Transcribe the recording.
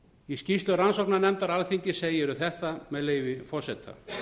í skýrslu rannsóknarnefndar alþingis segir um þetta með leyfi forseta